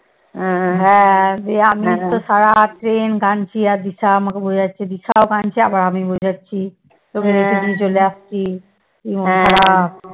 দিয়ে আমিতো সারারাত কাঁদছি আর দিশা আমাকে বোঝাচ্ছে আর দিশাও কাদঁছে আমি আবার বোঝাচ্ছি